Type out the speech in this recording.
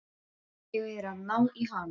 Ég er að ná í hana.